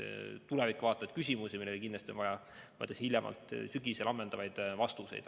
Siin on väga palju tulevikku vaatavaid küsimusi, millele kindlasti on vaja hiljemalt sügisel ammendavaid vastuseid.